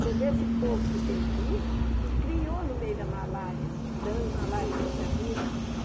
Você vê esse povo que tem aí, que criou no meio da malária, dando malária toda vida.